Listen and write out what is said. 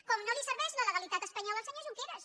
com no li serveix la legalitat espanyola al senyor junqueras